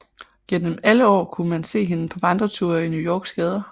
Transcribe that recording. Gennem alle år kunne man se hende på vandreture i New Yorks gader